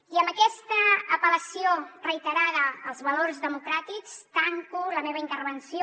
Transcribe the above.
i amb aquesta apel·lació reiterada als valors democràtics tanco la meva intervenció